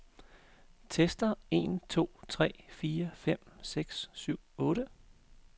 Tester en to tre fire fem seks syv otte.